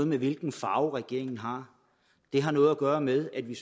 med hvilken farve regeringen har det har noget at gøre med at vi